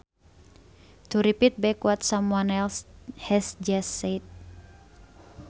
To repeat back what someone else has just said